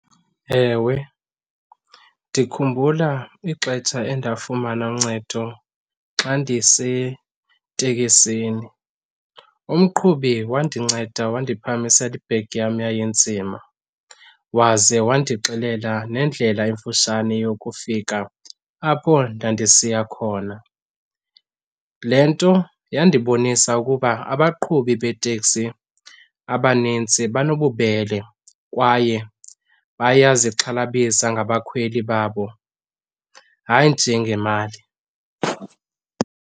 Ewe, ndikhumbula ixetsha endafumana uncedo xa ndiseteksini. Umqhubi wandinceda wandiphakamisela ibegi yam yayinzima waze wandixelela nendlela emfutshane yokufika apho ndandisiya khona. Le nto yandibonisa ukuba abaqhubi beeteksi abanintsi banobubele kwaye bayazixhalabisayo ngabakhweli babo, hayi nje ngemali.